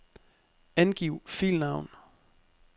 Angiv filnavn.